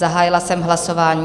Zahájila jsem hlasování.